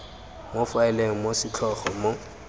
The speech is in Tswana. mo faeleng ya setlhogo mo